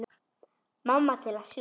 Mamma til að sjúga.